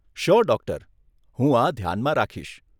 Sure doctor! હું આ ધ્યાનમાં રાખીશ.